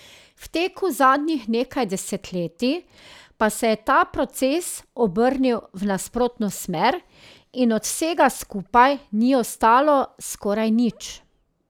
V teku zadnjih nekaj desetletij pa se je ta proces obrnil v nasprotno smer in od vsega skupaj ni ostalo skoraj nič.